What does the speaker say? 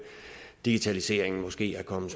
digitaliseringen måske er kommet